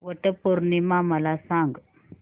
वट पौर्णिमा मला सांग